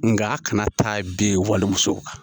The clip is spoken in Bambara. Nga a kana taa bili muso kan